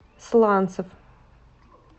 сланцев